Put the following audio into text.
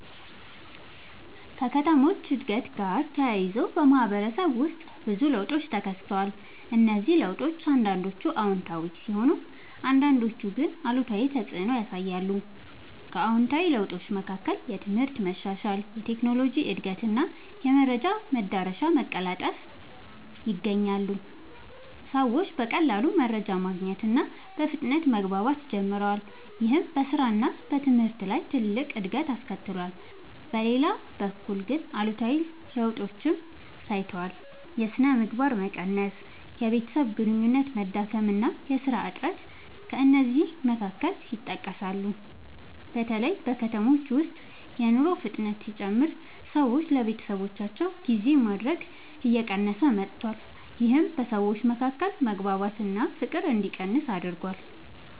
ከከተሞች እድገት ጋር ተያይዞ በማህበረሰብ ውስጥ ብዙ ለውጦች ተከስተዋል። እነዚህ ለውጦች አንዳንዶቹ አዎንታዊ ሲሆኑ አንዳንዶቹ ግን አሉታዊ ተፅዕኖ ያሳያሉ። ከአዎንታዊ ለውጦች መካከል የትምህርት መሻሻል፣ የቴክኖሎጂ እድገት እና የመረጃ መዳረሻ መቀላጠፍ ይገኛሉ። ሰዎች በቀላሉ መረጃ ማግኘት እና በፍጥነት መግባባት ጀምረዋል። ይህም በስራ እና በትምህርት ላይ ትልቅ እድገት አስከትሏል። በሌላ በኩል ግን አሉታዊ ለውጦችም ታይተዋል። የሥነ ምግባር መቀነስ፣ የቤተሰብ ግንኙነት መዳከም እና የሥራ እጥረት ከእነዚህ መካከል ይጠቀሳሉ። በተለይ በከተሞች ውስጥ የኑሮ ፍጥነት ሲጨምር ሰዎች ለቤተሰባቸው ጊዜ ማድረግ እየቀነሰ መጥቷል። ይህም በሰዎች መካከል መግባባት እና ፍቅር እንዲቀንስ አድርጓል።